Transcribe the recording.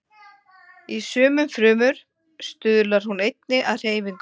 Í sumum frumum stuðlar hún einnig að hreyfingum.